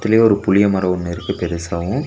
ஒரு புளிய மரோ ஒன்னு இருக்கு பெருசாவு.